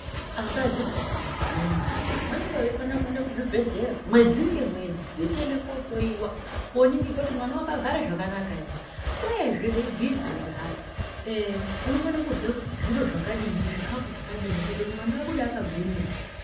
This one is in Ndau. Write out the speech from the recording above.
Akadzi peyani vanemimba vanenge veifanira kuenda kuzvibhedhlera mwedzi ngemwedzi vechiende kohloiwa koningirwe kuti mwana wakagare zvakanaka ere uyezve veibhirwa kuti hai unofana kurya zviro zvakadi, zvikafu zvakadini kuitire kuti mwana abide akagwinya.